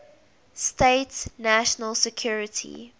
states national security